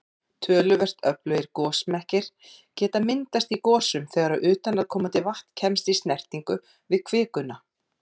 Töluvert öflugir gosmekkir geta myndast í gosum þegar utanaðkomandi vatn kemst í snertingu við kvikuna.